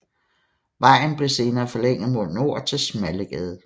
Vejen blev senere forlænget mod nord til Smallegade